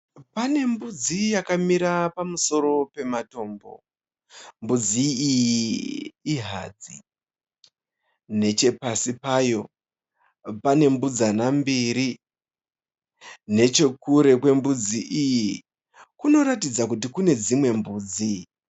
Pane mbudzi yakamira pamusoro pematombo. Mbudzi iyi ihadzi. Nechepasi payo pane mbudzana mbiri. Nechokure kwembudzi iyi, kunoratidza kuti kune dzimwe mbudzi.